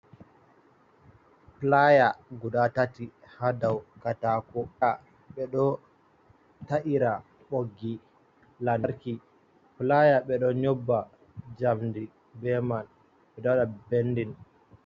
Playa guda tati hadau katako ka be do ta’ira boggi lantarki ,playa be do nyobba jamdi be man bedowda bendin.